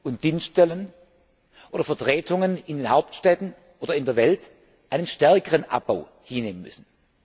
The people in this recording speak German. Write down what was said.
und Dienststellen oder Vertretungen in den Hauptstädten oder in der Welt einen stärkeren Abbau hinnehmen müssen.